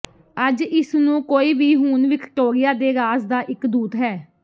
ਅੱਜ ਇਸ ਨੂੰ ਕੋਈ ਵੀ ਹੁਣ ਵਿਕਟੋਰੀਆ ਦੇ ਰਾਜ਼ ਦਾ ਇੱਕ ਦੂਤ ਹੈ